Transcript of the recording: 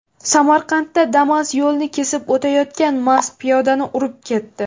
Samarqandda Damas yo‘lni kesib o‘tayotgan mast piyodani urib ketdi.